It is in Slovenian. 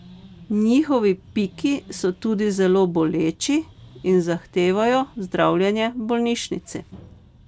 Njihovi piki so tudi zelo boleči in zahtevajo zdravljenje v bolnišnici.